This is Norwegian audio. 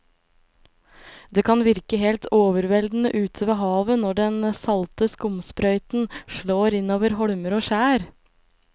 Det kan virke helt overveldende ute ved havet når den salte skumsprøyten slår innover holmer og skjær.